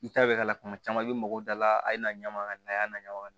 I ta bɛ k'a la kuma caman i mako da la a ye na ɲagami a y'a naɲɔgɔn